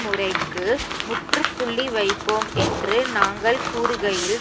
முறைக்கு முற்றுப்புள்ளி வைப்போம் என்று நாங்கள் கூறுகையில்